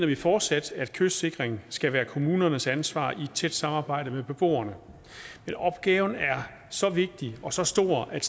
vi fortsat at kystsikring skal være kommunernes ansvar i tæt samarbejde med beboerne men opgaven er så vigtig og så stor at